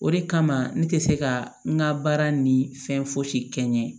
O de kama ne tɛ se ka n ka baara ni fɛn fosi kɛ n ɲɛ